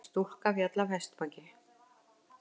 Stúlka féll af hestbaki